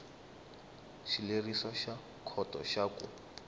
xileriso xa khoto xa ku